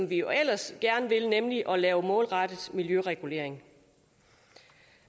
vi ellers gerne vil nemlig at lave målrettet miljøregulering